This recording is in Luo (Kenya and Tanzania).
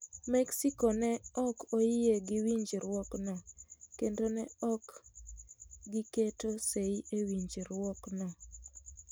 Mexico ne ok oyie gi winjruokno kendo ne ok giketo sei e winjruokno.